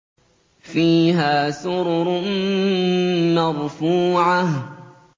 فِيهَا سُرُرٌ مَّرْفُوعَةٌ